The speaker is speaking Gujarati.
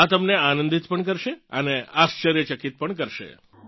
આ તમને આનંદિત પણ કરશે અને આશ્ચર્યચકિત પણ કરશે